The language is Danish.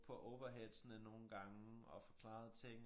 På overheadsne nogle gange og forklarede ting